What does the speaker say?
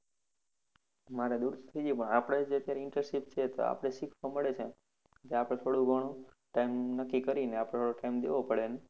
મારે દુર જઈ જાય પણ આપણે જે અત્યારે internship છે તો આપણે shift તો મળી જાય, તો આપને થોડું ઘણું time નક્કી કરીને આપણો time દેવો પડે એને